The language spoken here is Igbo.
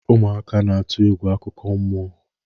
ụmụaka n'atụ egwu akụkọ mmụọ